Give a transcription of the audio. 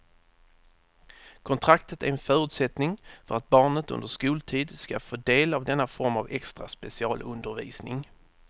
Kontraktet är en förutsättning för att barnet under skoltid ska få del av denna form av extra specialundervisning.